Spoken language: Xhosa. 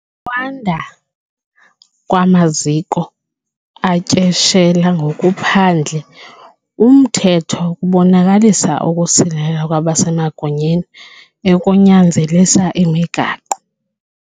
Ukwanda kwamaziko atyeshela ngokuphandle umthetho kubonakalisa ukusilela kwabasemagunyeni ekunyanzelisa imigaqo.